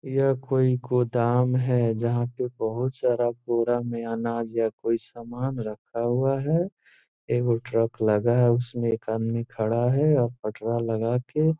यह कोई गोदाम है जहाँ पे बहुत सारा बोरा में अनाज या कोई सामान रखा हुआ है एवं ट्रक लगा है जिसमें एक आदमी खड़ा है लगा के --